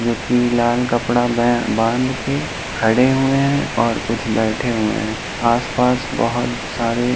जो की लाल कपड़ा में बाँध के खड़े हुए है और कुछ बैठे हुए हैं। आस पास बहोत सारे